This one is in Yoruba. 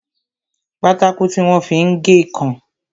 Pátákó tí wọ́n fi ń gé ǹkan